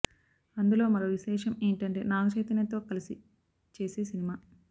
అందులో మరో విశేషం ఏంటంటే నాగచైతన్య తో కలిసి చేసే సినిమా